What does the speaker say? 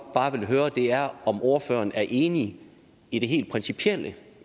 bare vil høre er om ordføreren er enig i det helt principielle